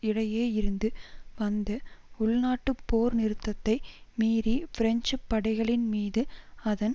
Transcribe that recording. இடையே இருந்து வந்த உள்நாட்டுப் போர்நிறுத்தத்தை மீறி பிரெஞ்சு படைகளின் மீது அதன்